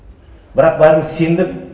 бірақ бәріміз сендік